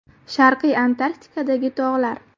Sharqiy Antarktidadagi tog‘lar.